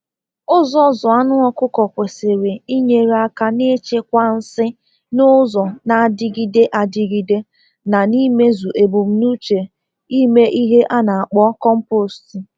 Ụzọ zụ anụ ọkụkọ kwesịrị inyere aka n’ịchịkwa nsị n'ụzọ na-adịgide adịgide na n’imezu ebumnuche ime ihe a na-akpọ komposti.